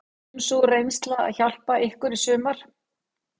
Mun sú reynsla hjálpa ykkur í sumar?